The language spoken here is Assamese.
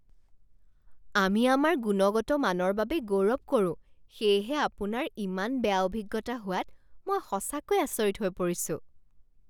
আমি আমাৰ গুণগত মানৰ বাবে গৌৰৱ কৰোঁ সেয়েহে আপোনাৰ ইমান বেয়া অভিজ্ঞতা হোৱাত মই সঁচাকৈ আচৰিত হৈ পৰিছো।